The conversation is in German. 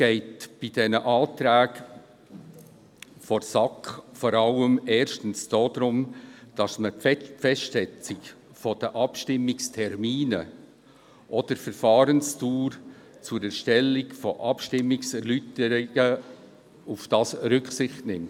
Bei den Anträgen der SAK geht es erstens vor allem darum, bei der Festsetzung der Abstimmungstermine auch auf die Verfahrensdauer zur Erstellung der Abstimmungserläuterungen Rücksicht zu nehmen.